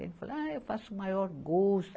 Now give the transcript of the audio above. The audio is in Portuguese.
Ele falou, ah, eu faço o maior gosto.